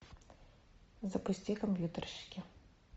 запусти компьютерщики